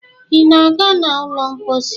ị na-aga n' ụlọ mposi?